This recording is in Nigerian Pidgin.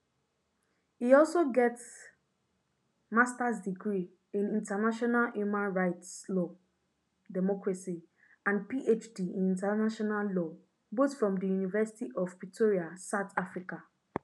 e also get masters degree in international human rights law democracy and phd in international law both from di university of pretoria south africa